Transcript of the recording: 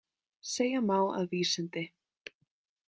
Segja má að vísindi.